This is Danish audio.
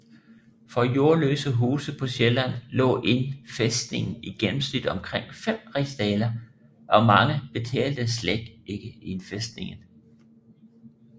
For jordløse huse på Sjælland lå indfæstningen i gennemsnit omkring 5 rigsdaler og mange betalte slet ikke indfæstning